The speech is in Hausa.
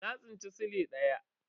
Na tsinci sile daya.